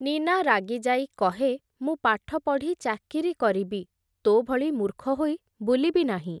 ନୀନା ରାଗିଯାଇ କହେ, ମୁଁ ପାଠପଢ଼ି ଚାକିରି କରିବି, ତୋ ଭଳି ମୂର୍ଖ ହୋଇ ବୁଲିବି ନାହିଁ ।